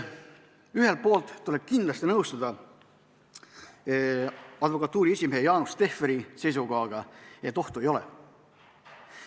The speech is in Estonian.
Ühelt poolt tuleb kindlasti nõustuda advokatuuri esimehe Jaanus Tehveri seisukohaga, et ohtu ei ole.